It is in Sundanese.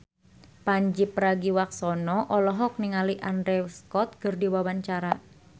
Pandji Pragiwaksono olohok ningali Andrew Scott keur diwawancara